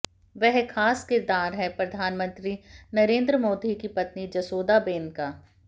वह खास किरदार है प्रधानमंत्री नरेंद्र मोदी की पत्नी जसोदाबेन का